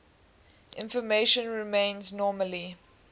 information remains nominally